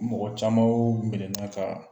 Mɔgɔ caman y'o kunklena ta